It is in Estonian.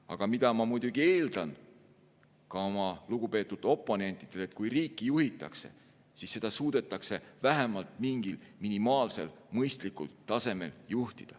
Aga ma muidugi eeldan ka oma lugupeetud oponentidelt, et kui riiki juhitakse, siis suudetakse seda teha vähemalt mingil minimaalsel mõistlikul tasemel.